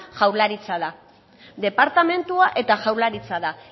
jaurlaritza da departamentua eta jaurlaritza da